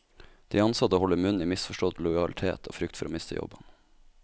De ansatte holder munn i misforstått lojalitet og frykt for å miste jobben.